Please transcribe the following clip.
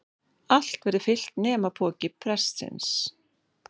Allt verður fyllt nema pokinn prestsins.